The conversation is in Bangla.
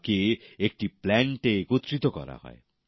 তাকে একটি প্ল্যান্টে একত্রিত করা হয়